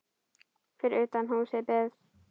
Fyrir utan húsið beið